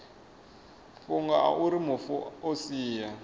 fhungo auri mufu o sia